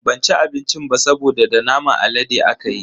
Ban ci abincin ba saboda da naman alade akayi.